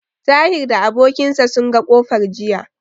Tahir da abokin sa sun ga kofar jiya.